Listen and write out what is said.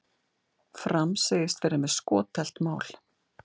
Fram segist vera með skothelt mál